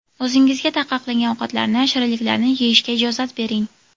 O‘zingizga taqiqlangan ovqatlarni, shirinliklarni yeyishga ijozat bering.